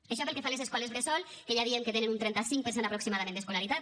això pel que fa a les escoles bressol que ja diem que tenen un trenta cinc per cent aproximadament d’escolaritat